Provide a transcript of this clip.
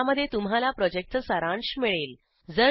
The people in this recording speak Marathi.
ज्यामध्ये तुम्हाला प्रॉजेक्टचा सारांश मिळेल